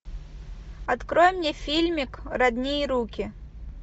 открой мне фильмик родные руки